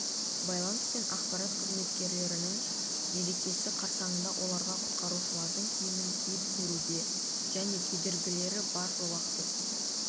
байланыс пен ақпарат қызметкерлерінің мерекесі қарсаңында оларға құтқарушылардың киімін киіп көруге және кедергілері бар жолақты